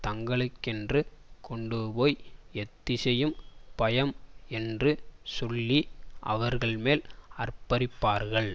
தங்களுக்கென்று கொண்டுபோய் எத்திசையும் பயம் என்று சொல்லி அவர்கள்மேல் ஆர்ப்பரிப்பார்கள்